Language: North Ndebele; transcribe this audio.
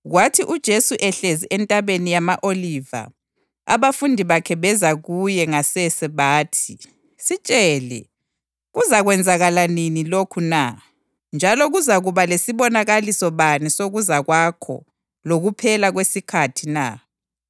Kwathi uJesu ehlezi eNtabeni yama-Oliva abafundi bakhe beza kuye ngasese bathi, “Sitshele, kuzakwenzakala nini lokhu na, njalo kuzakuba lesibonakaliso bani sokuza kwakho lokuphela kwesikhathi na?”